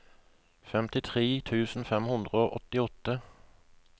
femtitre tusen fem hundre og åttiåtte